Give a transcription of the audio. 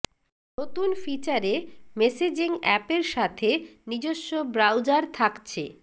নতুন ফিচারে messaging app এর সাথে নিজস্ব ব্রাউজার থাকছে